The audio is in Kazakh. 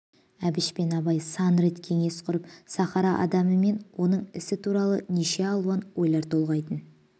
әбіш пен абай сан рет кеңес құрып сахара адамы мен оның ісі туралы неше алуан ойлар толғайтын